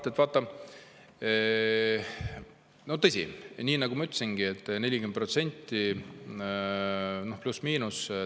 Mart, vaata, tõsi, nii nagu ma ütlesingi, 40% pluss-miinus.